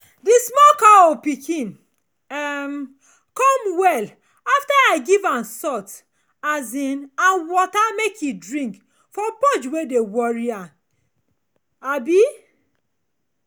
the small pikin cow um come well after i give am salt um and water make e drink for purge wey dey worry am um